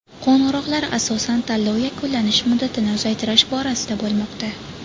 Qo‘ng‘iroqlar asosan tanlov yakunlanish muddatini uzaytirish borasida bo‘lmoqda.